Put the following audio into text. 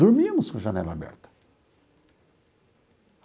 Dormíamos com a janela aberta.